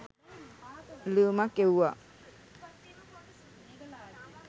ලියුමක් එව්වා